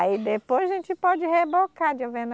Aí depois a gente pode rebocar de alvena